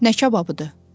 Nə kababıdı?